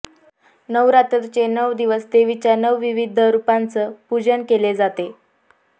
नवरात्रीचे नऊ दिवस देवीच्या नऊ विविध रुपांच पुजन केले जाते